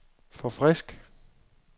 forfrisk